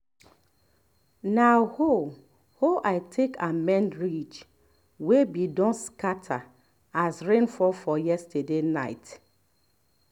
na hoe hoe i take amend ridge wey be don scatter as rain fall for yesterday nite